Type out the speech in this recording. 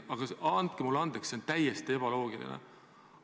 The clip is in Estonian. Aga andke mulle andeks, see on täiesti ebaloogiline.